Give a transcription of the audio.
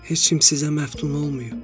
Heç kim sizə məftun olmayıb.